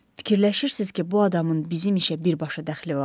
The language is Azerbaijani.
Fikirləşirsiz ki, bu adamın bizim işə birbaşa dəxli var?